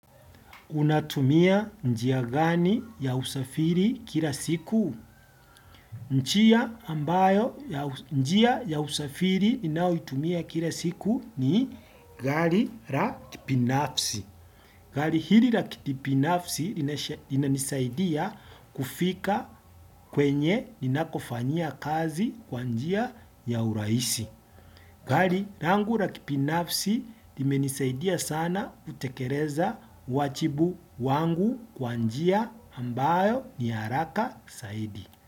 Unatumia njia gani ya usafiri kila siku? Njia ambayo njia ya usafiri ninaoitumia kila siku ni gari ra kipinafsi. Gari hili ra kipinafsi linanisaidia kufika kwenye ninakofanyia kazi kwa njia ya uraisi. Gali rangu ra kipinafsi limenisaidia sana kutekereza wachibu wangu kwa njia ambayo ni haraka saidi.